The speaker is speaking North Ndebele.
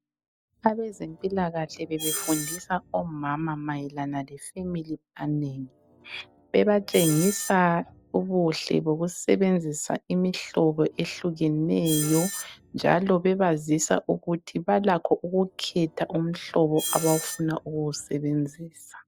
Abezempilakahle bebefundisa omama mayelana le Family Planning. Bebatshengisa ubuhle bokusebenzisa imihlobo ehlukeneyo njalo bebazisa ukuthi balakho ukukhetha umhlobo abafuna ukuwusebenzisa.